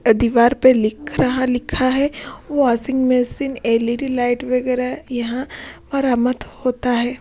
दीवार पे लिख रहा लिखा है वाशिंग मशीन में एलईडी लाइट यहां परामत होता है।